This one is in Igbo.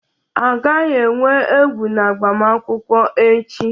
A gaghị enwe egwu na agbamakwụkwọ echi